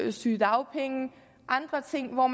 og sygedagpenge og andre ting hvor